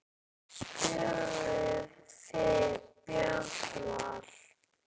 Spurðuð þið Björn Val?